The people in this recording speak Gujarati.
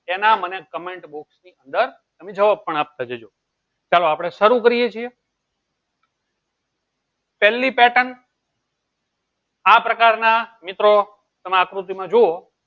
તેના મને comment box ની અંદર મુહ્જ્વાબ પણ આપતા જજો ચાલો આપળે સરૂ કરીએ છીએ છે પેહલી pattern આ પ્રકાર ના મિત્રો તમે આકૃતિ માં અંદર જુવો